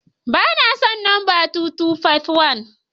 Ba na son lamba 2251.